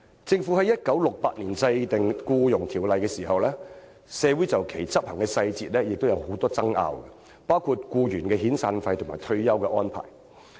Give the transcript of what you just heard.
政府於1968年制定《僱傭條例》時，社會亦曾就條例的執行細節有很多爭拗，包括僱員的遣散費和退休安排。